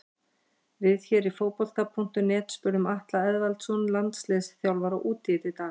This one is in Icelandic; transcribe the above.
Við hér á Fótbolti.net spurðum Atla Eðvaldsson landsliðsþjálfara út í þetta í dag.